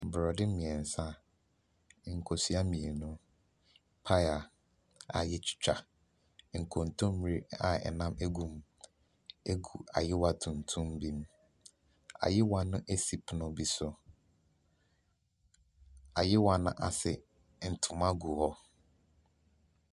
Borɔde mmeɛnsa, nkosua mmienu, paya a wɔatwitwa. Nkontommire a nam gu mu gi ayowa tuntum bi mu. Ayowa no si pono bi so. Ayowa no ase, ntoma gu hɔ.